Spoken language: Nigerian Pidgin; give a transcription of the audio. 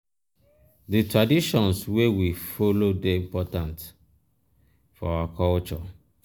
di traditions wey we follow dey important um for our culture.